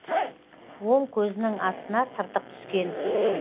оң көзінің астына тыртық түскен